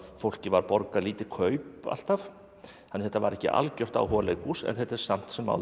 fólki var borgað lítið kaup alltaf þannig að þetta var ekki algjört áhugaleikhús en þetta er samt sem áður